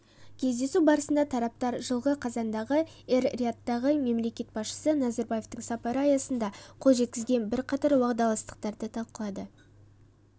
кездесу барысында тараптар жылғы қазандағы эр-риядтағы мемлекет басшысы назарбаевтың сапары аясында қол жеткізілген бірқатар уағдаластықтарды талқылады